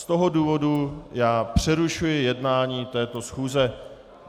Z toho důvodu já přerušuji jednání této schůze.